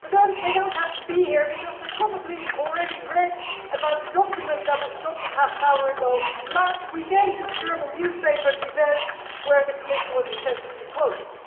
But then they do not have to be here because they probably already read about the document, that was adopted 30 minutes ago, last weekend in the German newspaper where the Commission was extensively quoted.